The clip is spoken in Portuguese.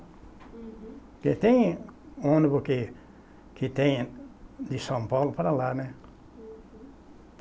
Uhum. Porque tem ônibus que que tem de São Paulo para lá, né?